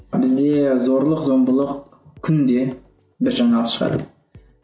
бізде зорлық зомбылық күнде бір жаңалық шығады